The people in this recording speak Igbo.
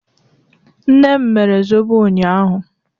Nne m mere zọbọ unyaahụ